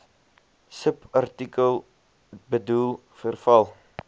subartikel bedoel verval